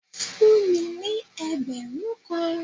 Fún mi ní ẹgbẹ̀rún kan!